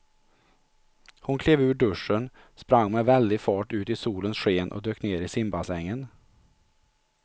Hon klev ur duschen, sprang med väldig fart ut i solens sken och dök ner i simbassängen.